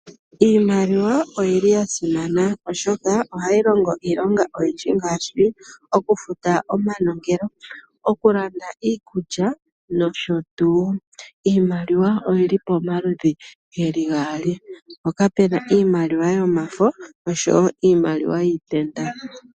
Iimaliwa oyili ya simana oshoka ohayi longo iilonga oyindji ngaashi okufuta omanongelo, oku landa iikulya nosho tuu. Iimaliwa oyili pomaludhi geli gaali mpoka puna iimaliwa yomafo noshowo iimaliwa yiitenda.